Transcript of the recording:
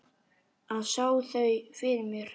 Og sá þau fyrir mér.